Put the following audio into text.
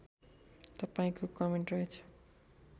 तपाईँको कमेन्ट रहेछ